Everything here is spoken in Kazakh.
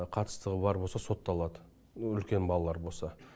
қатыстығы бар болса сотталады үлкен балалар бар болса